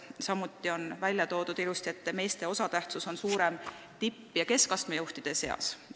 Samuti on välja toodud, et meeste osatähtsus tipp- ja keskastme juhtide seas on suurem.